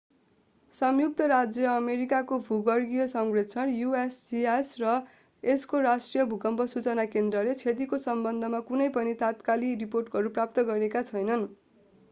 संयुक्त राज्य अमेरिकाको भूगर्भीय सर्वेक्षण usgs र यसको राष्ट्रिय भूकम्प सूचना केन्द्रले क्षतिका सम्बन्धमा कुनै पनि तात्कालिक रिपोर्टहरू प्राप्त गरेका छैनन्।